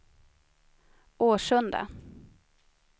Årsunda